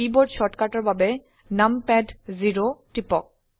keyboard শৰ্টকাটৰ বাবে নামপাদ 0 টিপক